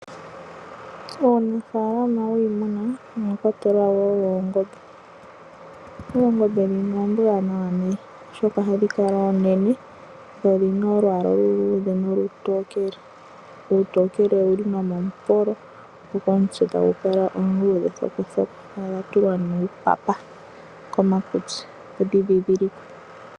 Muunafalama wiimuna omwa kwatelwa wo noongombe. Oongombe ndhino oombwaanawa nee, oshoka ohadhi kala oonene. Dho odhi na olwaala oluluudhe nolutookele. Olutokele olu li wo nomomupolo, go omutse tagu kala omuluudhe thokothoko. Odha tulwa nee uupapa komakutsi, opo dhi dhidhilikwe.